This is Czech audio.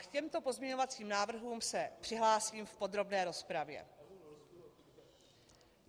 K těmto pozměňovacím návrhům se přihlásím v podrobné rozpravě.